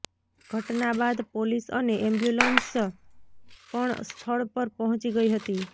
ઘટના બાદ પોલીસ અને એમ્બ્યુલન્સ પણ સ્થળ પર પહોંચી ગઈ હતી